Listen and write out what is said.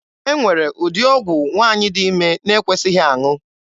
E nwere ụdị ọgwụ nwaanyị dị ime na-ekwesịghị aṅụ.